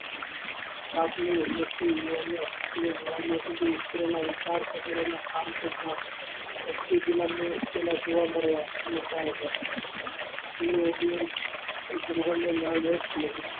આગલી જોવા મળતા હતા દુલ્હન નો